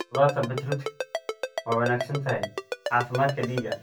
Khudaarta beetroot waa wanaagsan tahay caafimaadka dhiigga.